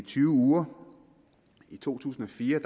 tyve uger i to tusind og fire